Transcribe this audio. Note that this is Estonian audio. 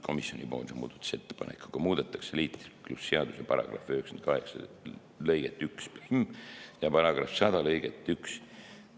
Komisjoni muudatusettepanekuga muudetakse liiklusseaduse § 98 lõiget 11 ja § 100 lõiget 1.